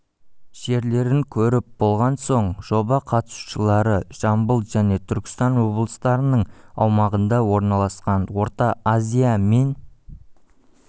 жерлерін көріп болған соң жоба қатысушылары жамбыл және түркістан облыстарының аумағында орналасқан орта азия мен